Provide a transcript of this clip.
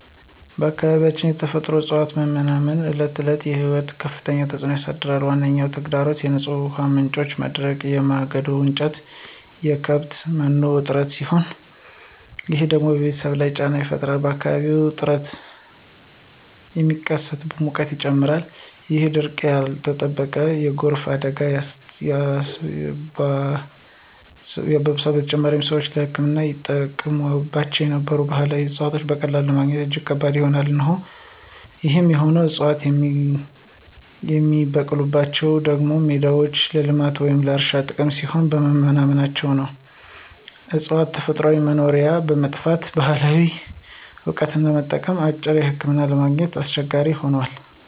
በአካባቢያችን የተፈጥሮ እፅዋት መመናመን በዕለት ተዕለት ሕይወት ላይ ከፍተኛ ተጽዕኖ አሳድሯል። ዋነኛ ተግዳሮቶቹ የንጹህ ውሃ ምንጮች መድረቅ፣ የማገዶ እንጨትና የከብት መኖ እጥረት ሲሆኑ፣ ይህ ደግሞ በቤተሰብ ላይ ጫና ይፈጥራል። በአካባቢውም እርጥበት ስለሚቀንስ ሙቀት ይጨምራል፣ ይህም ድርቅና ያልተጠበቀ የጎርፍ አደጋን ያባብሰዋል። በተጨማሪም፣ ሰዎች ለሕክምና ይጠቀሙባቸው የነበሩ ባህላዊ እፅዋትን በቀላሉ ማግኘት እጅግ ከባድ ሆኗል። ይህ የሆነው ዕፅዋቱ የሚበቅሉባቸው ደኖችና ሜዳዎች ለልማት ወይም ለእርሻ ጥቅም ሲባል በመመናመናቸው ነው። የእፅዋቱ ተፈጥሯዊ መኖሪያ በመጥፋቱ፣ ባህላዊ እውቀትን ለመጠበቅና አማራጭ ሕክምናዎችን ለማግኘት አስቸጋሪ ሆኗል።